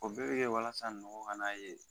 O bɛɛ bɛ kɛ walasa nɔgɔ kana ye